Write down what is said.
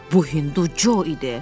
Bu Hindu Co idi.